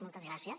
moltes gràcies